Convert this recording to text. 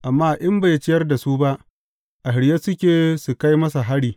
amma in bai ciyar da su ba, a shirye suke su kai masa hari.